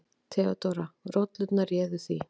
THEODÓRA: Rollurnar réðu því.